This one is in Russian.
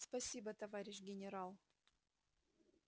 спасибо товарищ генерал